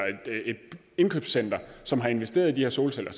et indkøbscenter som har investeret i de her solceller